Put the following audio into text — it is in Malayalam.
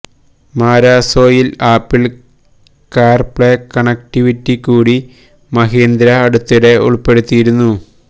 മരാസോയില് ആപ്പിള് കാര് പ്ലേ കണക്റ്റിവിറ്റി കൂടി മഹീന്ദ്ര അടുത്തിടെ ഉള്പ്പെടുത്തിയിരുന്നു